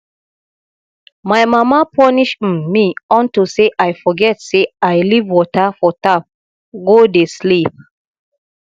my mama punish um me unto say i forget say i leave water for tap go dey sleep